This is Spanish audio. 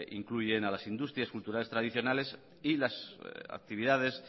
incluyen a las industrias culturales tradicionales y las actividades